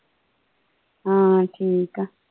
ਹਾਂ ਠੀਕ ਆ।